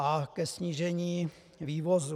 A ke snížení vývozů.